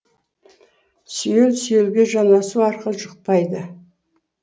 сүйел сүйелге жанасу арқылы жұқпайды